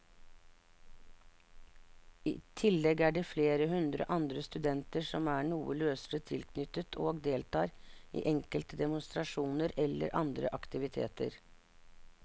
I tillegg er det flere hundre andre studenter som er noe løsere tilknyttet og deltar i enkelte demonstrasjoner eller andre aktiviteter.